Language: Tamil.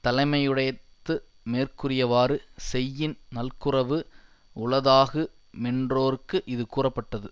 தலைமையுடைத்து மேற்கூறியவாறு செய்யின் நல்குரவு உளதாகு மென்றோர்க்கு இது கூறப்பட்டது